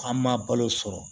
An ma balo sɔrɔ